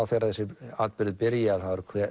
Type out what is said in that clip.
þegar þessir atburðir byrja að